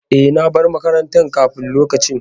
E, na bar makaranta kafin lokaci.